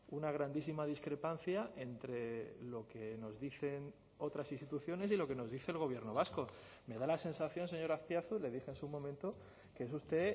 una grandísima discrepancia entre lo que nos dicen otras instituciones y lo que nos dice el gobierno vasco me da la sensación señor azpiazu le dije en su momento que es usted